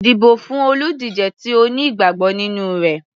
Dìbò fún olùdíje tí o ní ìgbàgbọ́ nínú rẹ̀.